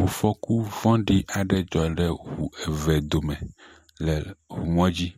Ŋufɔku vɔɖi aɖe dzɔ ɖe ŋu eve dome le ŋumɔdzi.